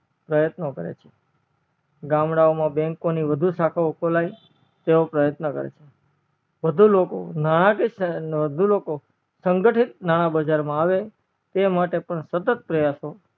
પ્રયત્ન કરે છે ગામડા માં bank ઓ ની વધુ શાખા ખોલાવી તેવો પ્રયત્ન કરે છે વધુ ઓકો નાન્ક્ય લોકો સંગઠિત નાણા બજાર માં આવે તે માટે સતત પ્રયાસો